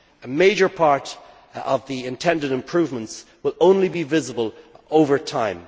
A major part of the intended improvements will only be visible over time.